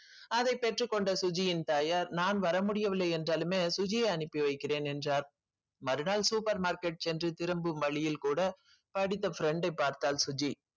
அதைப் பெற்றுக் கொண்ட சுஜியின் தாயார் நான் வர முடியவில்லை என்றாலுமே சுஜியை அனுப்பி வைக்கிறேன் என்றார் மறுநாள் super market சென்று திரும்பும் வழியில் கூட படித்த friend ஐ பார்த்தாள் சுஜி